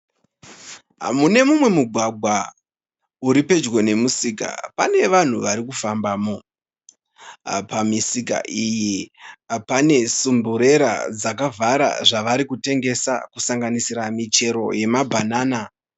Mune mugwgwa uri pedyo nemusika pane vanhu varikufambamo, pamisika iyi pane sumburera dzakavhara zvavari kutengesa kusanganisira michero yemamabhanana.